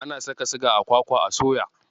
Ana saka siga a kwakwa a soya.